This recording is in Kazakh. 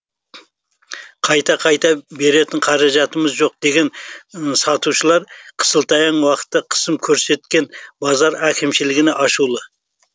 қайта қайта беретін қаражатымыз жоқ деген сатушылар қысылтаяң уақытта қысым көрсеткен базар әкімшілігіне ашулы